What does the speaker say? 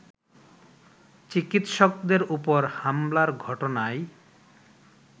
চিকিৎসকদের ওপর হামলার ঘটনায়